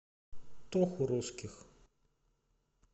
тоху русских